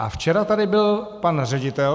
A včera tady byl pan ředitel.